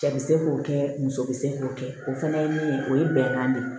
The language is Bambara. Cɛ bi se k'o kɛ muso be se k'o kɛ o fɛnɛ ye min ye o ye bɛnkan de ye